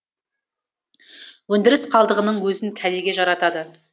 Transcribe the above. өндіріс қалдығының өзін кәдеге жаратады